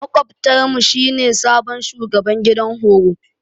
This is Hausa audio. Makwabtar mu shi ne sabon shugaban gidan horo.